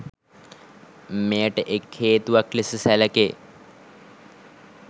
මෙයට එක් හේතුවක් ලෙස සැලකේ